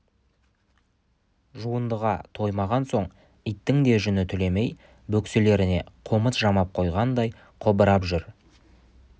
жуындыға тоймаған соң иттің де жүні түлемей бөкселеріне қомыт жамап қойғандай қобырап жүр